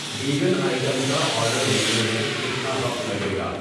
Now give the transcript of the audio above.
Vegan item کا order ملنے میں کتنا وقت لگے گا؟